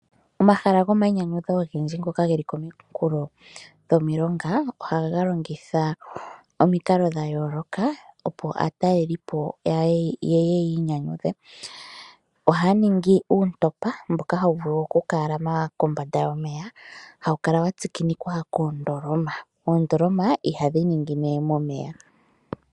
Omahala gomainyanyudho ogendji ngoka geli kominkulo dhomilonga ohaga longitha omikalo dha yooloka opo aatalelelipo ye ye yi inyanyudhe. Ohaya ningi uuntopa mboka hawu vulu okukalama kombanda yomeya hawu kala watsikinikwa koondoloma, oondoloma ihadhi ningine momeya.